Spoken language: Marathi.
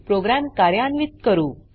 प्रोग्राम कार्यान्वीत करू